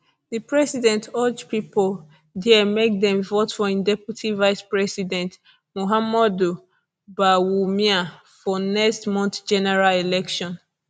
di president urge pipo dia make dem vote for im deputy vicepresident mahamudu bawumia for next month general election